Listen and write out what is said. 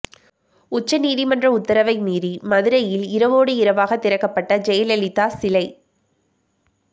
உச்ச நீதிமன்ற உத்தரவை மீறி மதுரையில் இரவோடு இரவாக திறக்கப்பட்ட ஜெயலலிதா சிலை